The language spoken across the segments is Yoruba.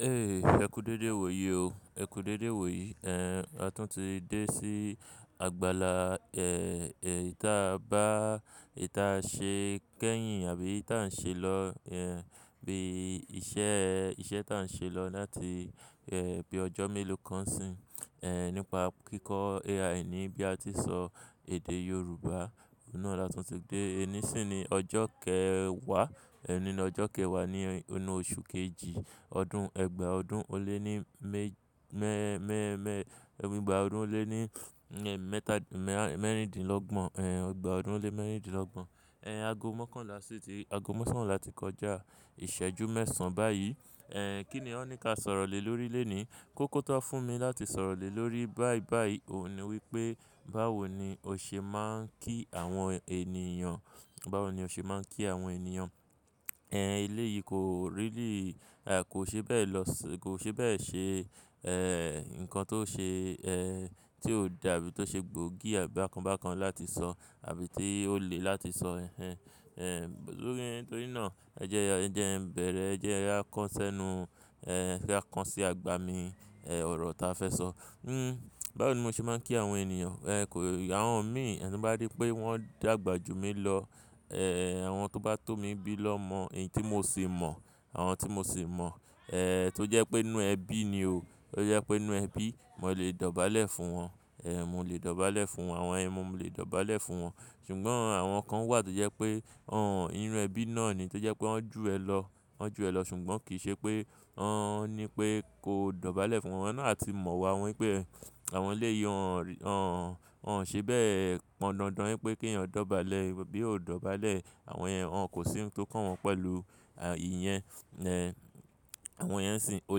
Ẹ kú dédé wò yí o. Ẹ kú dédé wò yí. A tún ti dé sí àgbàlá, eh, eh, tí a bá, tí a ṣe kẹ́yìn àbí tí à ń ṣe lọ, eh, bí iṣẹ́, iṣẹ́ tí à ń ṣe lọ láti, eh, bí ọjọ́ mélòó kan sìn, eh, nípa kíkọ́ AI ní bí a ti sọ èdè Yorùbá. Òun náà la tún ti dé. Ẹní sì ni ọjọ́ kẹwàá, ẹni ní ọjọ́ kẹwàá ní inú oṣù kejì ọdún ẹgbàá ọdún ó lé ní mẹ́, mẹ́, mẹ́, mẹ́, ọgbàá ọdún ó lé ní, eh, mẹ́tà, mẹ́rìndínlọ́gbọ̀n, eh, ọgbàá ọdún ó lé mẹ́rìndínlọ́gbọ̀n. Eh, ago mọ́kànlá sí i ti, ago mọ́kànlá ti kọjá. Ìṣẹ́jú mẹ́ẹ̀sán báyìí. Kí ni wọ́n ní ka sọ̀rọ̀ lè lórí lónìí? Kókó tó fún mi láti sọ̀rọ̀ lè lórí báí báí òun ni wípé báwo ni o ṣe máa ń kí àwọn ènìyàn. Báwo ni o ṣe máa ń kí àwọn ènìyàn? Eh, eleyìí kò really, kò ṣe bẹ́ẹ̀ lọ, kò ṣe bẹ́ẹ̀ ṣe, eh, ǹkan tó ṣe, eh, tí ó dàbí tó ṣe gbóògì àbí bákan bákan láti sọ àbí tí ó le láti sọ. Torí náà ẹ jẹ́, ẹ jẹ́ ń bẹ̀rẹ̀, ẹ jẹ́ ẹ yá kọ́ ẹ́ sẹ́nu, eh, ẹ yá kàn sí agbami, eh, ọ̀rọ̀ ta fẹ́ sọ. Hmm, báwo ni mo ṣe máa ń kí àwọn ènìyàn? Eh, kò, àwọn mi tí bá rí pé wọ́n dàgbà jú mi lọ, eh, àwọn tó bá tó mi bí lọ́mọ, èyí tí mo sì mọ̀, àwọn tí mo sì mọ̀, eh, tó jẹ́ pé inú ẹbí ni o. Tó jẹ́ pé inú ẹbí, mo lè dọ̀bálẹ̀ fún wọn. Eh, mo lè dọ̀bálẹ̀ fún wọn. Àwọn ẹ, mo lè dọ̀bálẹ̀ fún wọn. Ṣùgbọ́n àwọn kan wà tó jẹ́ pé wọ́n inú ẹbí náà ni tó jẹ́ pé wọ́n ju ẹ lọ, wọ́n ju ẹ lọ ṣùgbọ́n kì í ṣe pé wọ́n ní pé kó dọ̀bálẹ̀ fún wọn. Wọn náà ti mọ̀ wọ́n pé àwọn eleyi wọ́n, wọ́n, wọ́n ṣe bẹ́ẹ̀ pọn dandan wípé kí ẹ̀yin dọ̀bálẹ̀, bí o dọ̀bálẹ̀, àwọn ẹ, wọn kò sí ohun tó kàn wọn pẹ̀lú ìyẹn. Eh, àwọn yen sìn, o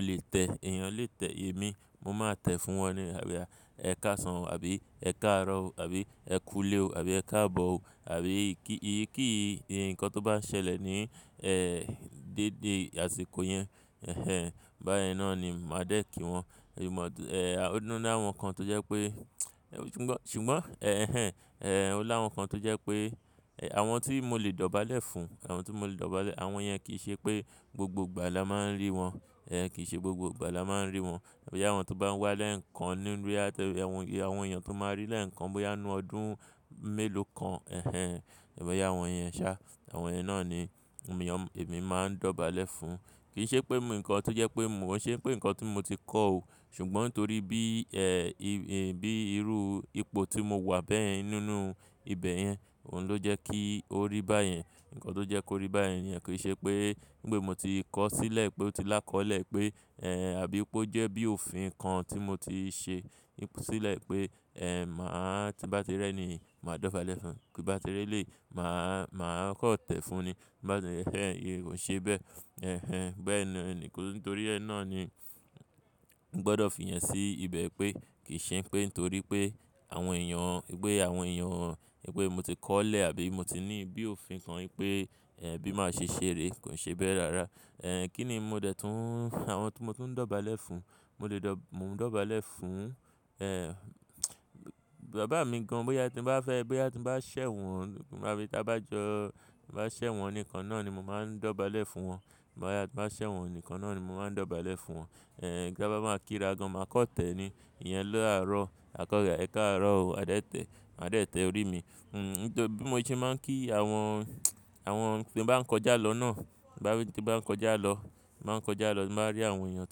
lè tẹ, ẹ̀yin lè tẹ èmi, mo máa tẹ fún wọn ni. Àbí ẹ ká sàn o àbí ẹ ká rọ̀ o àbí ẹ kú ilé o àbí ẹ ká bọ̀ o àbí kí ì, kí ǹkan tó bá ń ṣẹlẹ̀ ní, eh, dédé àsìkò yẹn. Ẹ̀hẹn, bá yẹn náà ni màá dé kí wọn. Ò ní láwọn kan tó jẹ́ pé, ṣùgbọ́n, ṣùgbọ́n, ẹ́hẹn, eh, ó láwọn kan tó jẹ́ pé àwọn tí mo lè dọ̀bálẹ̀ fún, àwọn tí mo lè dọ̀bálẹ̀, àwọn ẹ́ kì í ṣe pé gbogbo ìgbà la máa ń rí wọn. Eh, kì í ṣe gbogbo ìgbà la máa ń rí wọn. Bí àwọn tó bá ń wá lẹ́ẹ̀kan nínú yá tẹ, àwọn èèyàn tó máa rí lẹ́ẹ̀kan bóyá inú ọdún mélòó kan. Ẹ̀hẹn, èmi ó yá àwọn ẹ́ ṣá. Àwọn yẹ́n náà ni èmi máa ń dọ̀bálẹ̀ fún. Kì í ṣe pé mu ǹkan tó jẹ́ pé mò ń ṣe pé ǹkan tí mo ti kọ́ o. Ṣùgbọ́n torí bí, bí irú ipò tí mo wà bẹ́ẹ̀ nínú ibẹ̀ yẹn, òun ló jẹ́ kí ó rí báyẹn. Ǹkan tó jẹ́ kó rí báyẹn ni ẹ́ kì í ṣe pé nígbè mo ti kọ́ sílẹ̀ pé ó ti lá kọ́lẹ̀ pé, eh, àbí pé ó jẹ́ bí òfin kan tí mo ti ṣe sílẹ̀ pé, eh, màá tí bá ti rẹ́ ni màá dọ̀bálẹ̀ fún. Bí bá ti rẹ́ lè, màá, màá kọ̀ tẹ́ fun ni. Tí n bá ti na yen ẹ́hẹn, iyen gan o ṣe bẹ́ẹ̀. Ẹ̀hẹn, bẹ́ẹ̀ naa ni. Nítorí ẹ́ náà ni mo gbọ́dọ̀ fi ìyen sí ibẹ̀ pé kì í ṣe pé nítorí pé àwọn èèyàn, ipé àwọn èèyàn, ipé mo ti kọ́lẹ̀ àbí mo ti ní bí òfin kan wípé, eh, bí màá ṣe ṣe ré, kò ṣe bẹ́ẹ̀ rárá. Eh, kí ni mo dẹ̀ tún, àwọn tí mo tún ń dọ̀bálẹ̀ fún, mo lè dọ̀, mò ń dọ̀bálẹ̀ fún, eh, bàbá mi gan-an bóyá tí ń bá fẹ́, bóyá tí ń bá ṣẹ̀ wọ́n, bá, ta bá jọ, bá ṣẹ̀ wọ́n nìkan náà ni mo máa ń dọ̀bálẹ̀ fún wọn. Bóyá tí ń bá ṣẹ̀ wọ́n nìkan náà ni mo máa ń dọ̀bálẹ̀ fún wọn. Eh, tí a bá máa kí ra gan-an, màá kan tẹ́ ni. Ìyẹn lọ́ àárọ̀, àkurọ́le ẹ káàárọ̀ o, maa dẹ̀ tẹ́, maa dẹ̀ tẹ́ orí mi. Hmm, nítorí bí mo ṣe máa ń kí àwọn, àwọn tí ń bá ń kọjá lọ náà, bá, tí n bá ń kọjá lọ, ti n bá ń kọjá lọ, ti mo bá rí àwọn èèyàn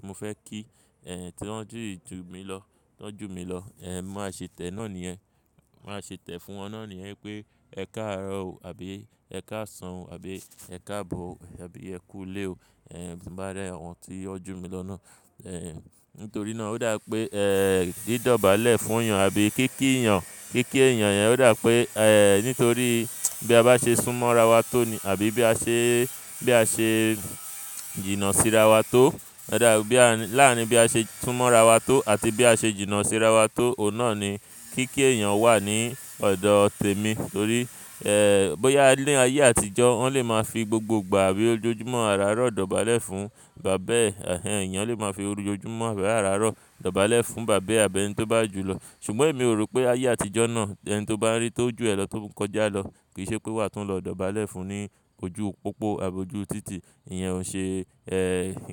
tí mo fẹ́ kí, eh, tí wọ́n ju mi lọ, tí wọ́n ju mi lọ, eh, bi mo màá ṣe tẹ̀ náà ni yẹ́n. Ti n màá ṣe tẹ́ fún wọn náà ni yẹ́n wipé ẹkáàárọ̀ o àbí ẹ káasàn o àbí ẹ káabọ̀ o àbí ẹ kúulé o. Eh, ti n bá rí àwọn tí wọn ju mi lọ náà. Ehen, nítorí náà ó dà pé, eh, bí dọ̀bálẹ̀ fún èèyàn àbí kí kí èèyàn, kí kí èèyàn yẹn ó dà pé, eh, nítorí bí a bá ṣe sún mọ́ ara wa tó ni àbí bí a ṣe, bí a ṣe jìnnà sí ara wa tó. Ọ̀ dà bí à ń, láàárín bí a ṣe sún mọ́ ara wa tó àti bí a ṣe jìnnà sí ara wa tó, òun náà ni kí kí èèyàn wà ní ọ̀dọ̀ tèmi. Torí, eh, bóyá ní ayé àtijọ́ wọn lè máa fi gbogbo ìgbà àbí ojojúmọ́ àràárọ̀ dọ̀bálẹ̀ fún bàbá ẹ. Ẹ̀hẹn, èèyàn lè máa fi ojojúmọ́ àbí àràárọ̀ dọ̀bálẹ̀ fún bàbá ẹ àbí ẹni tó bá jù lọ. Ṣùgbọ́n èmi ò rò pé ayé àtijọ́ náà ẹ n tó bá rí tó ju ẹ lọ tó ń kọjá lọ kì í ṣe pé wàá tún lọ dọ̀bálẹ̀ fún ní ojú pópó àbí ojú títì. Ìyẹn ò ṣe, eh.